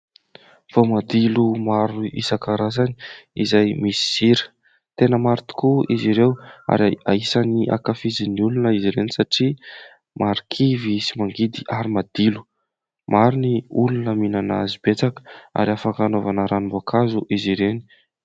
Voamadilo maro isankarazany izay misy sira ; tena maro tokoa izy ireo ary anisany ankafizin'ny olona izy ireny, satria marikivy sy mangidy ary madilo. Maro ny olona minana azy betsaka, ary afaka anaovana ranom-boankazo izy ireny.